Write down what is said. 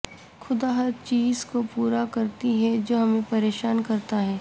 خدا ہر چیز کو پورا کرتی ہے جو ہمیں پریشان کرتا ہے